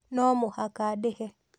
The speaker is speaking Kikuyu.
no mũhaka ndĩhe